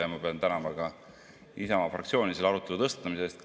Ja ma pean tänama ka Isamaa fraktsiooni selle arutelu tõstatamise eest.